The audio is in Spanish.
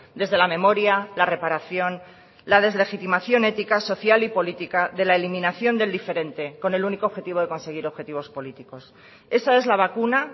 desde la memoria la reparación la deslegitimación ética social y política de la eliminación del diferente con el único objetivo de conseguir objetivos políticos esa es la vacuna